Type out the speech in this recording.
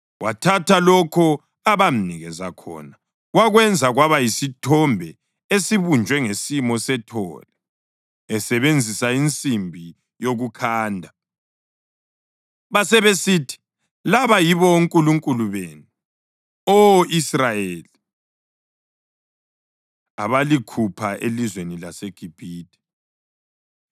Wathatha lokho abamnikeza khona wakwenza kwaba yisithombe esibunjwe ngesimo sethole esebenzisa insimbi yokukhanda. Basebesithi, “Laba yibo onkulunkulu benu, Oh Israyeli, abalikhupha elizweni laseGibhithe.”